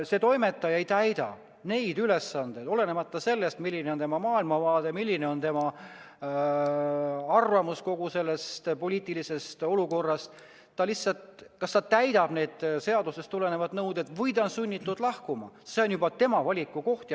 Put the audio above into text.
Kui toimetaja ei täida neid ülesandeid, olenemata sellest, milline on tema maailmavaade, milline on tema arvamus kogu sellest poliitilisest olukorrast – ta lihtsalt kas täidab seadusest tulenevaid nõudeid või ta on sunnitud lahkuma, see on juba tema valik.